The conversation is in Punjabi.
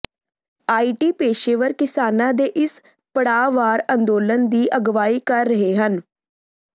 ਆਈ ਟੀ ਪੇਸ਼ੇਵਰ ਕਿਸਾਨਾਂ ਦੇ ਇਸ ਪੜਾਅਵਾਰ ਅੰਦੋਲਨ ਦੀ ਅਗਵਾਈ ਕਰ ਰਹੇ ਹਨ